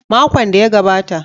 Makon da ya gabata.